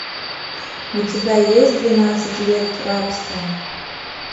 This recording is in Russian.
у тебя есть двенадцать лет рабства